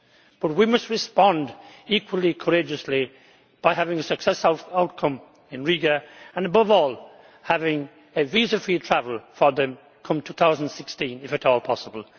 But we must respond equally courageously by having a successful outcome in Riga and, above all, having visa free travel for them by 2016, if at all possible.